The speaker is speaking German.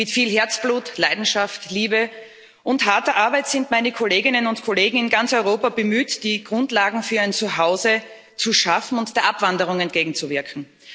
Mit viel Herzblut, Leidenschaft, Liebe und harter Arbeit sind meine Kolleginnen und Kollegen in ganz Europa bemüht, die Grundlagen für ein Zuhause zu schaffen und der Abwanderung entgegenzuwirken.